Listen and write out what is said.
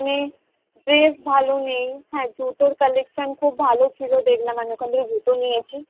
গেছি মানে dress ভালো নেই হ্যাঁ জুতোর colection খুব ভালো ছিল দেখলাম আমি ওখান থেকে জুতো নিয়েছি